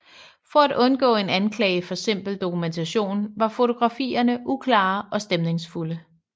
For at undgå en anklage for simpel dokumentation var fotografierne uklare og stemningsfulde